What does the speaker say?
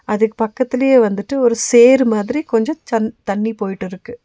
அதுக்கு பக்கத்திலேயே வந்துட்டு ஒரு சேறு மாதிரி கொஞ்சோ சன் தண்ணி போயிட்டு இருக்கு.